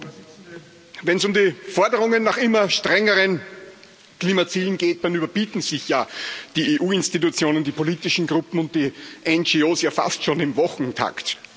Frau Präsidentin! Wenn es um die Forderungen nach immer strengeren Klimazielen geht, dann überbieten sich ja die EU Institutionen, die politischen Gruppen und die NGO fast schon im Wochentakt.